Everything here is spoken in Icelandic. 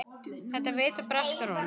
Þetta vita breskar konur.